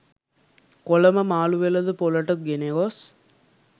කොළඹ මාළු වෙළෙඳ පොළට ගෙන ගොස්